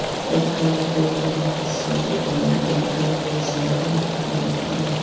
Red colour building కనిపిస్తుంది. పైన pink colour వేశారు. ఇక్కడ అంతా బాగుంది .